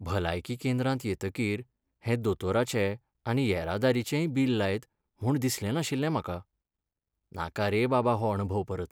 भलायकी केंद्रांत येतकीर हे दोतोराचें आनी येरादारीचेंय बिल लायत म्हूण दिसलें नाशिल्लें म्हाका, नाका रे बाबा हो अणभव परत.